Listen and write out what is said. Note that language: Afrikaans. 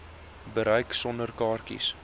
bereik sonder kaartjies